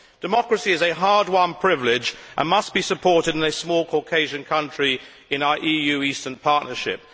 Democracy is a hard won privilege and must be supported in a small Caucasian country in our EU Eastern Partnership.